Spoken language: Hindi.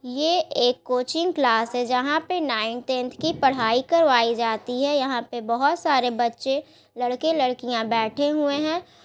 ये एक कोचिंग क्लास है जहाँ पे नाइन टेंथ की पढ़ाई करवाई जाती हैं यहाँ पे बहुत सारे बच्चे लड़के लडकियाँ बेठे हुए हैं।